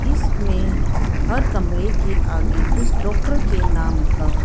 इसमें हर कमरे के आगे उस डॉक्टर के नाम का--